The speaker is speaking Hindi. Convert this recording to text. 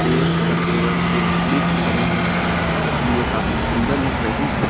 चेयर्स तथा टेबल्स जो लकड़ी की बनी हैं इसलिए काफी सुंदर लग रही हैं।